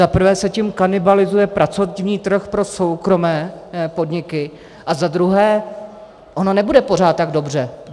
Za prvé se tím kanibalizuje pracovní trh pro soukromé podniky a za druhé, ono nebude pořád tak dobře.